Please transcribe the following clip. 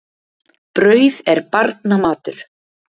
Brauð er barna matur.